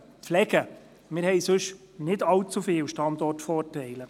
Denn wir haben nicht allzu viele andere Standortvorteile.